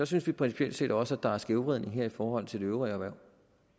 synes principielt set også at der er en skævvridning her i forhold til de øvrige erhverv